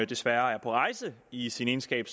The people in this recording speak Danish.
desværre er på rejse i sin egenskab